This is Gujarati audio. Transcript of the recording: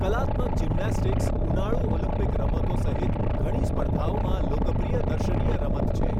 કલાત્મક જિમ્નેસ્ટિક્સ ઉનાળુ ઓલિમ્પિક રમતો સહિત ઘણી સ્પર્ધાઓમાં લોકપ્રિય દર્શનીય રમત છે.